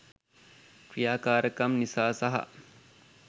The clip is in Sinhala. ක්‍රියාකාරකම් නිසා සහ